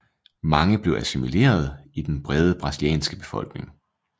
Mange blev assimileret i den brede brasilianske befolkning